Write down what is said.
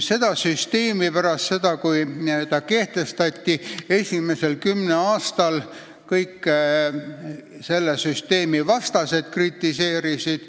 Seda segasüsteemi pärast seda, kui ta kehtestati, esimesel kümnel aastal kõik selle vastased kritiseerisid.